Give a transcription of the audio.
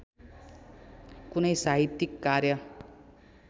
कुनै साहित्यिक कार्य